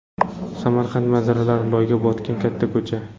Samarqand manzaralari: Loyga botgan katta ko‘cha.